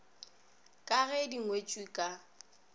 ka ge di ngwetšwe ka